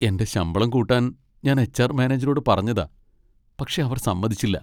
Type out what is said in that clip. എന്റെ ശമ്പളം കൂട്ടാൻ ഞാൻ എച്ച്.ആർ. മാനേജറോട് പറഞ്ഞതാ, പക്ഷെ അവർ സമ്മതിച്ചില്ല.